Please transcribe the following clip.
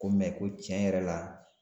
Ko ko tiɲɛ yɛrɛ la